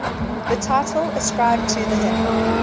the title ascribed to the hymn